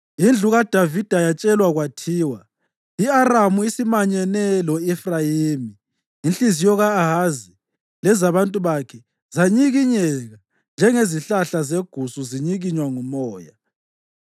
Indlu kaDavida yatshelwa kwathiwa, “I-Aramu isimanyene lo-Efrayimi,” inhliziyo ka-Ahazi lezabantu bakhe zanyikinyeka njengezihlahla zegusu zinyikinywa ngumoya.